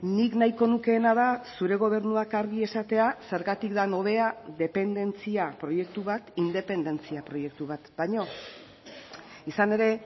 nik nahiko nukeena da zure gobernuak argi esatea zergatik den hobea dependentzia proiektu bat independentzia proiektu bat baino izan ere